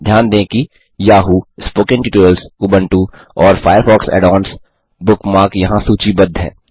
ध्यान दें कि याहू स्पोकेन ट्यूटोरियल्स उबुंटू और फायरफॉक्स add ओन्स बुकमार्क यहाँ सूचीबद्ध हैं